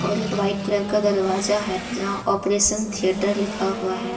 और एक white colour का दरवाजा है जहां ऑपरेशन थिएटर लिखा हुआ है।